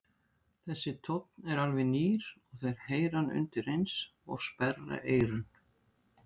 Þessi tónn er alveg nýr og þeir heyra hann undireins og sperra eyrun.